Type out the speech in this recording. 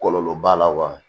Kɔlɔlɔ b'a la wa